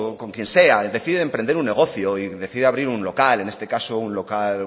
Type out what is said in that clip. con quien sea decide emprender un negocio y decide abrir un local en este caso un local